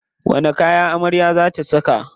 Wani kaya amarya za ta saka?